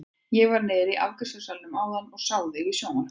Ég var niðri í afgreiðslusalnum áðan og sá þig í sjónvarpinu!